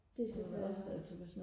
det synes jeg også